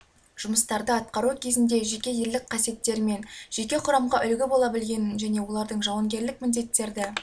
жұмыстарды атқару кезінде жеке ерлік қасиеттерімен жеке құрамға үлгі бола білгенін және олардың жауынгерлік міндеттерді